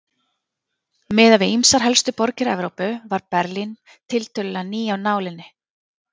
Miðað við ýmsar helstu borgir Evrópu var Berlín tiltölulega ný af nálinni.